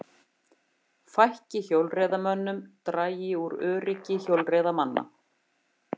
Fækki hjólreiðamönnum dragi úr öryggi hjólreiðamanna